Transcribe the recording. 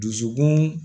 Dusukun